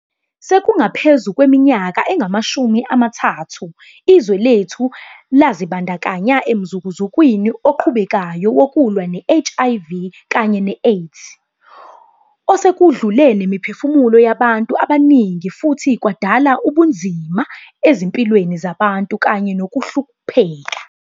Sekungaphezu kweminyaka engamashumi amathathu, izwe lethu lazibandakanya emzukuzukwini oqhubekayo wokulwa ne-HIV kanye ne-AIDS, osekudlule nemiphefumulo yabantu abaningi futhi kwadala ubunzima ezimpilweni zabantu kanye nokuhlupheka.